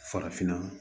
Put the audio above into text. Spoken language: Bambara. Farafinna